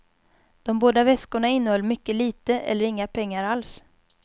De båda väskorna innehöll mycket lite eller inga pengar alls.